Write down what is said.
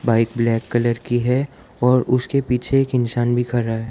Bike black colour की है और उसके पीछे एक इंसान भी खडा हैं।